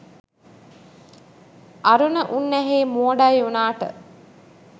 අරුණ උන්නැහේ මෝඩයි උනාට